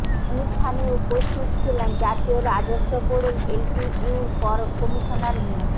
অনুষ্ঠানে উপস্থিত ছিলেন জাতীয় রাজস্ব বোর্ডের এলটিইউর কর কমিশনার মো